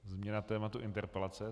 Změna tématu interpelace.